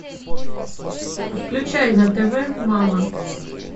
включай на тв мама